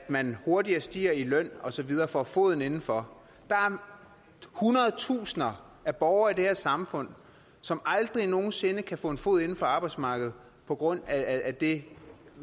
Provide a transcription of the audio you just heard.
man hurtigere stiger i løn og så videre og får foden inden for der er hundrede tusinder af borgere i det her samfund som aldrig nogen sinde kan få foden på arbejdsmarkedet på grund af det